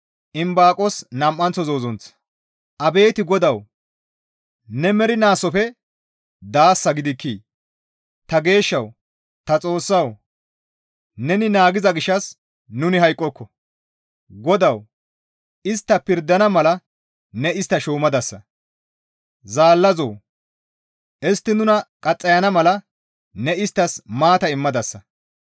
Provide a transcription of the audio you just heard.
Abeet GODAWU! Ne mernaasofe daasa gidikkii? Ta Geeshshawu, ta Xoossawu, neni naagiza gishshas nuni hayqqoko; GODAWU istta pirdana mala ne istta shuumadasa. Zaallazoo! Istti nuna qaxxayana mala ne isttas maata immadasa.